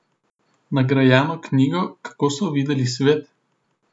Nagrajeno knjigo Kako so videli svet?